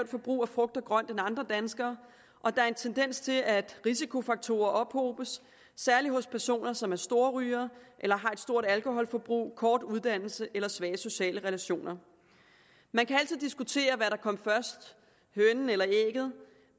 forbrug af frugt og grønt end andre danskere og der en tendens til at risikofaktorer ophobes særlig hos personer som er storrygere eller har et stort alkoholforbrug en kort uddannelse eller svage sociale relationer man kan altid diskutere hvad der kom først hønen eller ægget